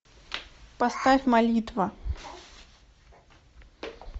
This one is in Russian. поставь молитва